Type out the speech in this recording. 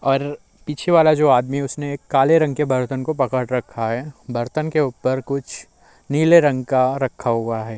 और पीछे वाला जो आदमी उसने काले रंग के बर्तन को पकड़ रखा है। बर्तन के ऊपर कुछ नीले रंग का रखा हुआ है।